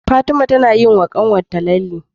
Fatima nayi wa kanwar ta lalle